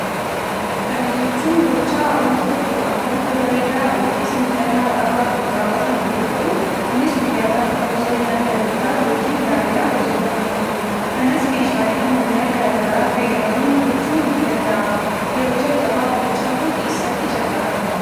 Kana jechuun gochaa wanti tokko akka bifa bareedaa yookis miidhagaa qabaatuf raawwatamu yoo ta'uu, kunis guyyaa gaafa kabaja ayyaana dhalootaa yookiin gaa'ilaa hojiirraa kan ooludha. kanas meeshalee ammayyaa gara garaa fayyadamuun tolchuun ni danda'ama yeroo jalqabaaf gochaan kun eessatti jalqabame?